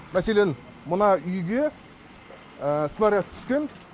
мәселен мына үйге снаряд түскен